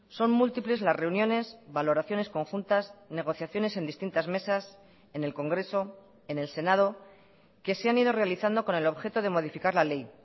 son múltiples las reuniones valoraciones conjuntas negociaciones en distintas mesas en el congreso en el senado que se han ido realizando con el objeto de modificar la ley